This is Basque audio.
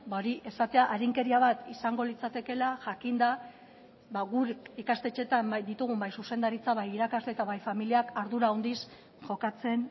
hori esatea arinkeria bat izango litzatekeela jakinda guk ikastetxeetan ditugun bai zuzendaritza bai irakasle eta bai familiak ardura handiz jokatzen